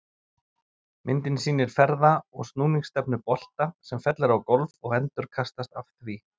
Myndin sýnir ferða- og snúningsstefnu bolta sem fellur á gólf og endurkastast af því.